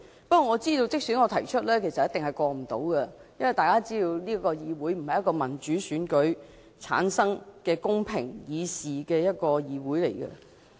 不過，我知道即使我提出修訂議案，其實也一定不能通過，因為大家也知道這個議會不是一個由民主選舉產生、公平議事的議會。